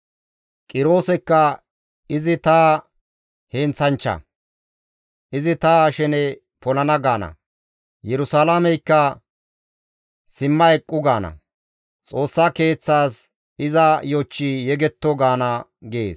Qiroosekka, ‹Izi ta heenththanchcha; izi ta shene polana› gaana; Yerusalaameykka, ‹Simma eqqu› gaana; Xoossa Keeththaas, ‹Iza yochchi yegetto› gaana» gees.